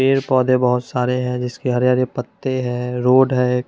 पेड़ पौधे बहोत सारे हैं जिसके हरे हरे पत्ते हैं रोड है।